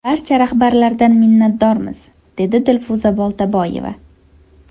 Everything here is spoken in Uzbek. Barcha rahbarlardan minnatdormiz”, dedi Dilfuza Boltaboyeva.